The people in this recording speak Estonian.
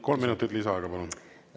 Kolm minutit lisaaega, palun!